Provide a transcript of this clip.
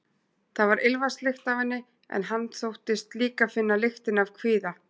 Það var ilmvatnslykt af henni, en hann þóttist líka finna lyktina af kvíða.